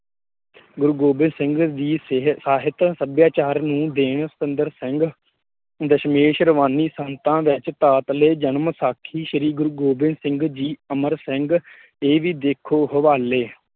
ਗੁਰੁ ਗੋਬਿੰਦ ਸਿੰਘ ਜੀ ਸੇਹ ਸਾਹਿਤ ਸੱਭਿਆਚਾਰ ਨੂੰ ਦੇਣ ਸੁੰਦਰ ਸਿੰਘ, ਦਸਮੇਸ਼ ਰਵਾਨੀ ਸੰਤਾ ਵਿੱਚ ਤਾਤਲੇ ਜਨਮ ਸਾਖੀ ਸ਼੍ਰੀ ਗੁਰੁ ਗੋਬਿੰਦ ਸਿੰਘ ਜੀ, ਅਮਰ ਸਿੰਘ ਦੇ ਹਵਾਲੇ ਇਹ ਵੀ ਦੇਖੋ ਹਵਾਲੇ